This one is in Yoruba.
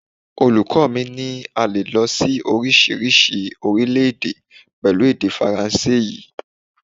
Olùkọ́ mi ní a lè lọ sí oríṣiríṣi orílẹ̀-èdè pẹ̀lú èdè Faransé yìí.